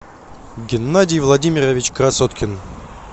геннадий владимирович красоткин